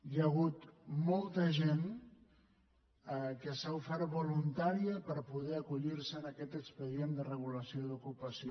hi ha hagut molta gent que s’ha ofert voluntària per poder acollir se a aquest expedient de regulació d’ocupació